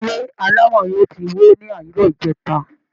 Ilé alámọ̀ọ̀ yẹn ti wó ni àárọ̀ ìjẹta